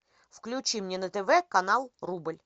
включи мне на тв канал рубль